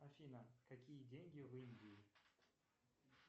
афина какие деньги в индии